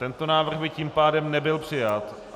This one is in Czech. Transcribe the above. Tento návrh by tím pádem nebyl přijat.